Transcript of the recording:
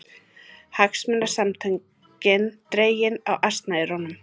Hagsmunasamtökin dregin á asnaeyrunum